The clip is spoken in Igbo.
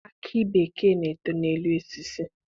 Akị bekee na-eto n'elu osisi.